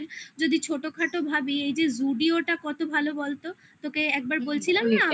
ছোটোখাটো ভাবি এই যে zudio টা কত ভালো বলতো? তোকে একবার বলছিলাম না?